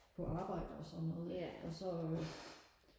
på arbejde og sådan noget ikke og så øh